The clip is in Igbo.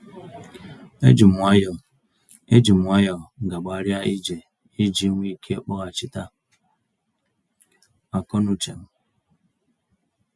E jim nwayọ E jim nwayọ gágbarịa ije iji nwee ike kpọghachịta akọ n'uchem.